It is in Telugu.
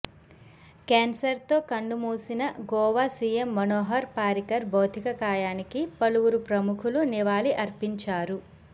క్యాన్సర్తో కన్నుమూసిన గోవా సీఎం మనోహర్ పారికర్ భౌతికకాయానికి పలువురు ప్రముఖులు నివాళి అర్పించారు